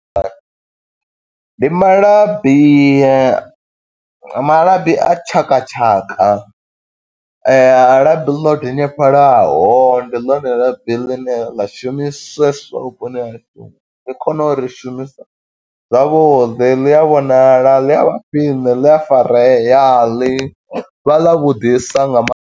Ndi malabi, malabi a tshakatshaka, labi ḽo denyefhalaho. Ndi ḽone labi ḽine ḽa shumiseswa vhuponi hashu, ḽi kone u ri shumisa zwavhuḓi, ḽi a vhonala, ḽi a vha khwiṋe, ḽi a farea, ḽi vha ḽi ḽa vhuḓisa nga maanḓa.